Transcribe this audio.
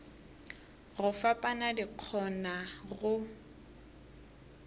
go fapana di kgona go